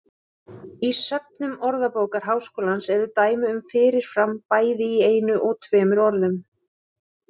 Í söfnum Orðabókar Háskólans eru dæmi um fyrir fram bæði í einu og tveimur orðum.